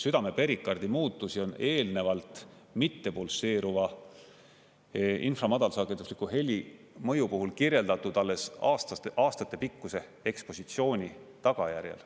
Südame perikardi muutusi on eelnevalt mittepulseeruva infra- ja madalsagedusliku heli mõju puhul kirjeldatud alles aastatepikkuse ekspositsiooni tagajärjel.